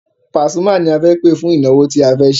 Pasuma ni a fẹ́ pẹ̀ fún ìnáwó tí a fẹ́ ṣe.